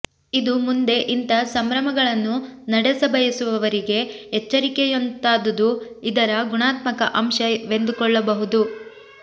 ಇದು ಮುಂದೆ ಇಂಥ ಸಂಭ್ರಮಗಳನ್ನು ನಡೆಸಬಯಸುವವರಿಗೆ ಎಚ್ಚರಿಕೆಯಂತಾದುದು ಇದರ ಗುಣಾತ್ಮಕ ಅಂಶವೆಂದುಕೊಳ್ಳಬಹುದು